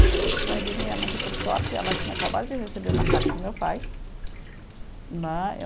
Então, aí diz a minha mãe que, por sorte, ela tinha acabado de receber uma carta do meu pai, né.